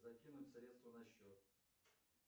закинуть средства на счет